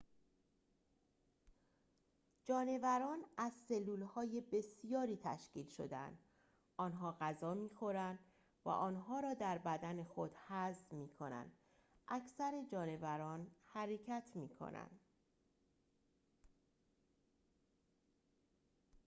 جانوران از سلول‌های بسیاری تشکیل شده‌اند آنها غذا می‌خورند و آنها را در بدن خود هضم می‌کنند اکثر جانوران حرکت می‌کنند